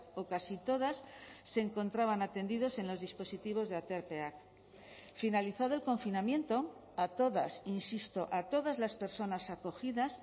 o casi todas se encontraban atendidos en los dispositivos de aterpeak finalizado el confinamiento a todas insisto a todas las personas acogidas